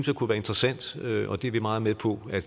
det kunne være interessant det er vi meget med på at